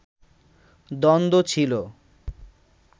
দ্বন্দ্ব ছিলো